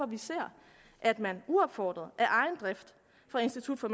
vi ser at man uopfordret af egen drift fra institut for